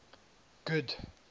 good